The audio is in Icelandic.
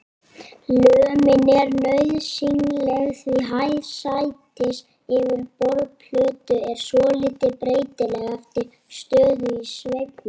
Lömin er nauðsynleg því hæð sætis yfir borðplötu er svolítið breytileg eftir stöðu í sveiflunni.